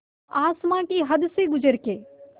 आसमां की हद से गुज़र के